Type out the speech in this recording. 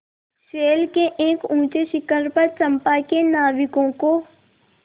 शैल के एक ऊँचे शिखर पर चंपा के नाविकों को